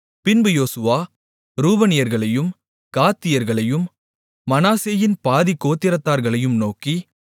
பின்பு யோசுவா ரூபனியர்களையும் காத்தியர்களையும் மனாசேயின் பாதிக் கோத்திரத்தார்களையும் நோக்கி